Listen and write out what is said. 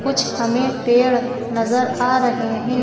कुछ हमें पेड़ नजर आ रहे हैं।